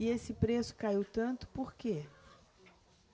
E esse preço caiu tanto por quê?